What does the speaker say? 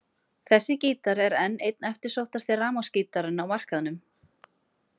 Þessi gítar er enn einn eftirsóttasti rafmagnsgítarinn á markaðnum.